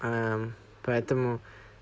поэтому